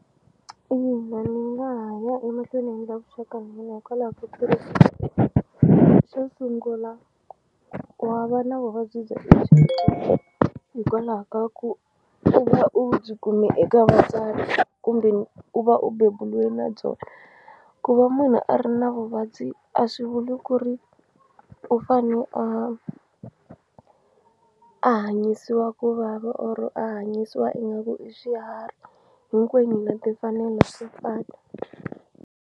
Ina ni nga ha ya emahlweni ni endla vuxaka hikwalaho ka ku ri u xo sungula wa va na vuvabyi hikwalaho ka ku u va u byi kume eka vatswari kumbe u va u bebuliwe na byona ku va munhu a ri na vuvabyi a swi vuli ku ri u fane a a hanyisiwa ku vava or-o a hanyisiwa ingaku i xiharhi hinkwenu hi na timfanelo to fana.